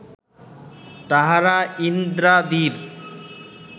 তাঁহারা ইন্দ্রাদির